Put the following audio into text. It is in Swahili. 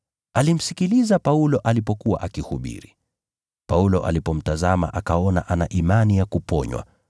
Alimsikiliza Paulo alipokuwa akihubiri. Paulo alipomtazama akaona ana imani ya kuponywa.